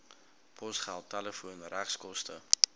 posgeld telefoon regskoste